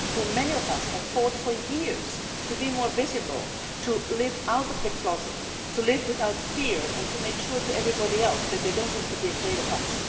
many of us have fought for years to be more visible, to live out of the closet, to live without fear and to make it clear to everybody else that they do not have to be afraid of us.